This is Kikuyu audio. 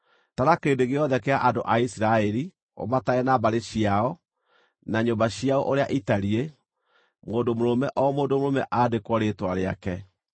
“Tara kĩrĩndĩ gĩothe kĩa andũ a Isiraeli, ũmatare na mbarĩ ciao, na nyũmba ciao ũrĩa itariĩ, mũndũ mũrũme o mũndũ mũrũme andĩkwo rĩĩtwa rĩake.